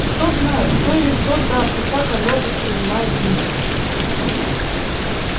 кто знает кто или что там и как оно воспринимает мир